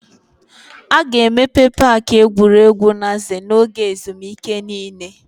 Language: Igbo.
A ga-emepe paaki egwuregwu Naze n'oge ezumike niile.